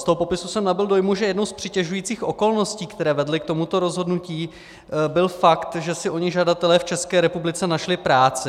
Z toho popisu jsem nabyl dojmu, že jednou z přitěžujících okolností, které vedly k tomuto rozhodnutí, byl fakt, že si oni žadatelé v České republice našli práci.